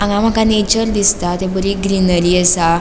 हांगा मका नेचर दिसता थंय बरी ग्रीनरी असा.